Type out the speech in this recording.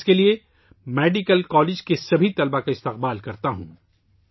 میں اس کے لئے میڈیکل کالج کے تمام طلباء کو مبارکباد دیتا ہوں